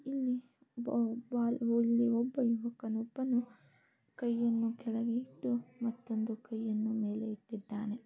ಇಲ್ಲಿ ಬ-ಬಾಯ್ ಇಲ್ಲಿ ಒಬ್ಬ ಯುವಕನೊಬ್ಬನು ಕೈಯನ್ನು ಕೆಳೆಗೆ ಇಟ್ಟು ಮತ್ತೊಂದು ಕೈಯನ್ನು ಮೇಲೆ ಇಟ್ಟಿದ್ದಾನೆ.